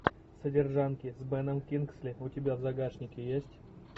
содержанки с беном кингсли у тебя в загашнике есть